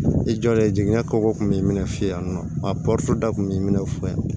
I jɔlen jiginna kɔbɔ kun b'i minɛ yan nɔ a dɔ kun b'i minɛ fɔlɔ yan